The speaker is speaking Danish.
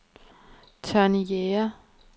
Tonni Jæger